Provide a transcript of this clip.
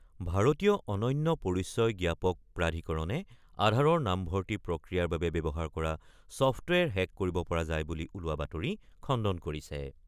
ভাৰতীয় অনন্য পৰিচয় জ্ঞাপক প্ৰাধিকৰণে আধাৰৰ নামভৰ্তি প্ৰক্ৰিয়াৰ বাবে ব্যৱহাৰ কৰা ছফ্টৱেৰ হেক কৰিব পৰা যায় বুলি ওলোৱা বাতৰি খণ্ডন কৰিছে।